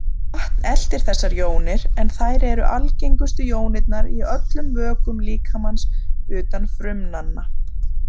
Vatn eltir þessar jónir, en þær eru algengustu jónirnar í öllum vökvum líkamans utan frumnanna.